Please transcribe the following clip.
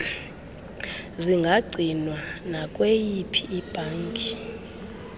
zingagcinwa nakwiyiphi ibhanki